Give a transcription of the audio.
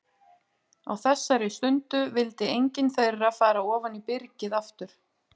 Á þessari stundu vildi engin þeirra fara ofan í byrgið aftur.